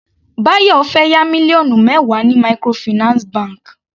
Bayo fẹ́ yá mílíọ̀nù mẹwa ní microfinance bank.